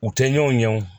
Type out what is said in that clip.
U tɛ ɲɔn ɲɛ o